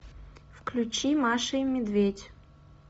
включи маша и медведь